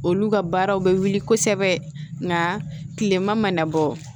Olu ka baaraw bɛ wuli kosɛbɛ nka tilema mana bɔ